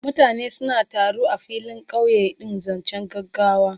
Mutane suna taru a filin kauye in zancen gaggawa.